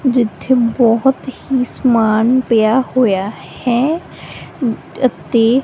ਜਿੱਥੇ ਬਹੁਤ ਹੀ ਸਮਾਨ ਪਿਆ ਹੋਇਆ ਹੈ ਅਤੇ --